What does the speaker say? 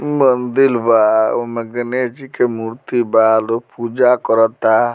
मंदील बा उमे गणेश जी के मूर्ति बा लोग पूजा करता।